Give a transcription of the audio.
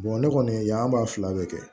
ne kɔni yan ba fila bɛ kɛ